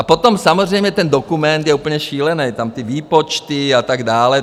A potom samozřejmě ten dokument je úplně šílený, tam ty výpočty a tak dále.